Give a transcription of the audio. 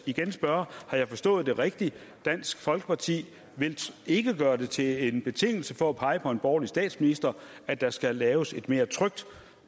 igen spørge har jeg forstået det rigtigt at dansk folkeparti ikke vil gøre det til en betingelse for at pege på en borgerlig statsminister at der skal laves et mere trygt